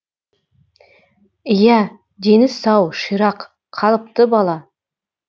иә дені сау ширақ қалыпты бала